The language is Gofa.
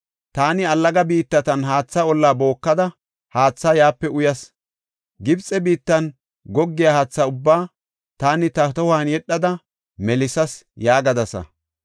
Taani allaga biittatan haatha olla bookada, haatha yaape uyas. Gibxe biittan goggiya haathe ubbaa taani ta tohuwan yedhada melisas” yaagadasa.